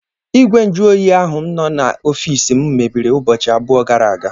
Igwe nju oyi ahụ nọ n'ọfiisi m mebiri ụbọchị abụọ gara aga.